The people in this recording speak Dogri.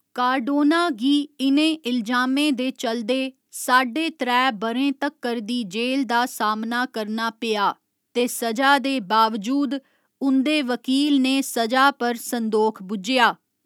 कार्डोना गी इ'नें इलजामें दे चलदे साड्डे त्रै ब'रें तक्कर दी जेल दा सामना करना पेआ ते स'जा दे बावजूद उं'दे वकील ने स'जा पर संदोख बुज्झेआ।